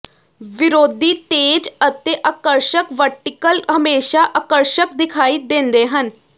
ਵਿਰੋਧੀ ਤੇਜ਼ ਅਤੇ ਆਕਰਸ਼ਕ ਵਰਟੀਕਲ ਹਮੇਸ਼ਾ ਆਕਰਸ਼ਕ ਦਿਖਾਈ ਦਿੰਦੇ ਹਨ